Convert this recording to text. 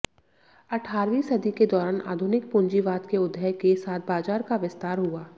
अठारहवीं सदी के दौरान आधुनिक पूंजीवाद के उदय के साथ बाजार का विस्तार हुआ